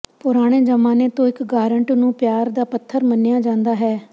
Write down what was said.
ਪੁਰਾਣੇ ਜ਼ਮਾਨੇ ਤੋਂ ਇੱਕ ਗਾਰੰਟ ਨੂੰ ਪਿਆਰ ਦਾ ਪੱਥਰ ਮੰਨਿਆ ਜਾਂਦਾ ਹੈ